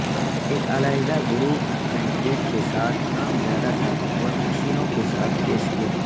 ایک علیحدہ group concrete کے ساتھ کام زیادہ طاقتور مشینوں کے ساتھ پیش کیا